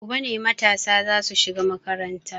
Gobe ne matasa za su shiga makaranta.